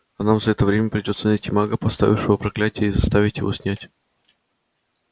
а нам за это время придётся найти мага поставившего проклятие и заставить его снять